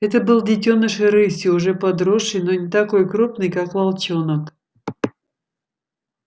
это был детёныш рыси уже подросший но не такой крупный как волчонок